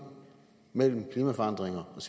mellem klimaforandringer og